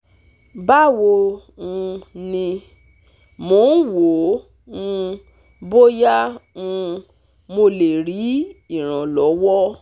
Báwo um ni, mò ń wò ó um bóyá um mo lè rí ìrànlọ́wọ́